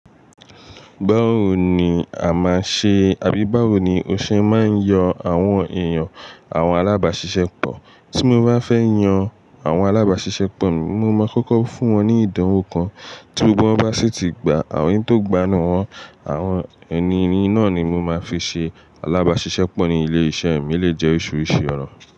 Báwo ni a máa ṣe àbí báwo ni o ṣe máa ń yọ àwọn èèyàn àwọn alábàáṣiṣẹ́ pọ̀? Tí mo bá fẹ́ yan àwọn alábáṣiṣẹ́ pọ̀, mo máa kọ́kọ́ fún wọn ní ìdánwò kan, tí gbogbo wọn bá sì ti gba àwọn èyí tó gbanaa wọn, àwọn ẹni náà ni mo máa fi ṣe alábáṣiṣẹ́ pọ̀ ní ilé iṣẹ́ mi. Eleyii je oríṣiríṣi ọ̀nà.